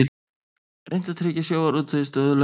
Reynt að tryggja sjávarútvegi stöðugleika